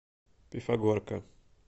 пифагорка